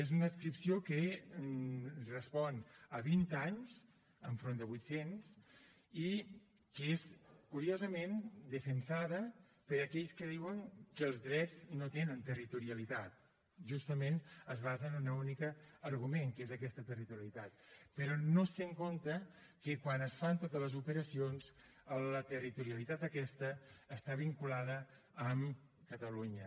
és una adscripció de fa vint anys enfront de vuitcents i que és curiosament defensada per aquells que diuen que els drets no tenen territorialitat i justament es basen en un únic argument que és aquesta territorialitat però no es té en compte que quan es fan totes les operacions la territorialitat aquesta està vinculada amb catalunya